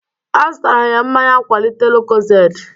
Azụtara m mmanya nkwalite lucozade